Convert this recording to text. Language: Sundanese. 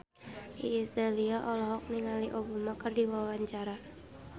Iis Dahlia olohok ningali Obama keur diwawancara